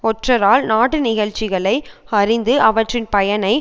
ஒற்றரால் நாட்டு நிகழ்ச்சிகளை அறிந்து அவற்றின் பயனை